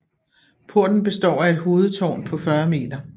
Porten består af et hovedtårn på 40 m